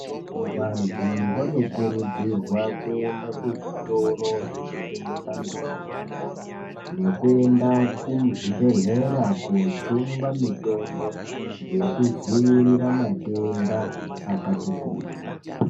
Vantu vanokurudzirwa kuenda kuzvitoro zvinotengesa mitombo, nekuenda kumuzvibhedhlera koojungwa mitombo yekudziirira matenda akati kuti.